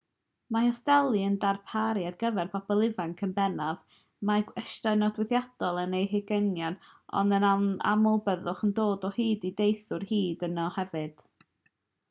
mae hosteli yn darparu ar gyfer pobl ifanc yn bennaf mae gwestai nodweddiadol yn eu hugeiniau ond yn aml byddwch yn dod o hyd i deithwyr hŷn yno hefyd